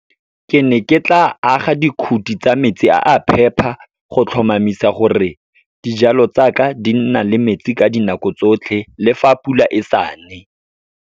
Ke ne ke tla aga dikhuti tsa metsi a a phepa, go tlhomamisa gore dijalo tsa ka di nna le metsi ka dinako tsotlhe, le fa pula e sa ne.